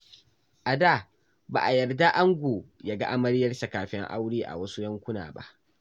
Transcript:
A da, ba a yarda ango ya ga amaryarsa kafin aure a wasu yankuna ba.